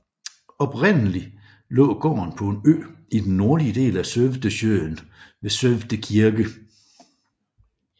Oprindeligt lå gården på en ø i den nordlige del af Sövdesjön ved Sövde Kirke